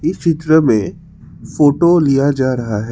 इस चित्र में फोटो लिया जा रहा है।